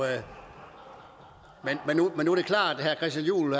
at herre christian juhl